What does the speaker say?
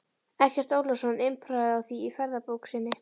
Eggert Ólafsson impraði á því í ferðabók sinni